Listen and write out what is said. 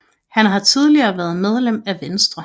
Han har tidligere været medlem af Venstre